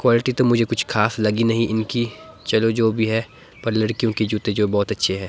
Quality तो मुझे कुछ खास लगी नहीं इनकी चलो जो भी है पर लड़कियों के जूते जो बहोत अच्छे है।